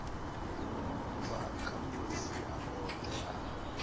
bva kha masia oṱhe a